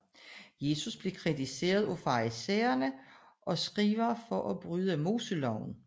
Jesus blev kritiseret af farisæere og skrivere for at bryde moseloven